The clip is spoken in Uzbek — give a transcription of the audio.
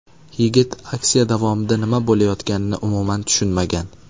Yigit aksiya davomida nima bo‘layotganini umuman tushunmagan.